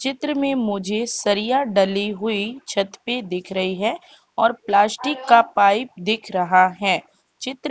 चित्र में मुझे सरिया डली हुई छत पे दिख रही है और प्लास्टिक का पाइप दिख रहा हैं चित्र --